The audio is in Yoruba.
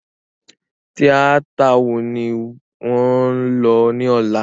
Tíátà wo ni ò ń lọ ní ọ̀la?